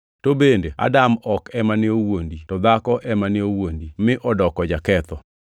To bende Adam ok ema ne owuondi, to dhako ema ne owuondi, mi odoko jaketho.